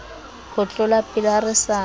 ho tlolapele ha re sa